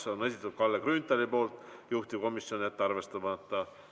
Selle on esitanud Kalle Grünthal, juhtivkomisjon: jätta arvestamata.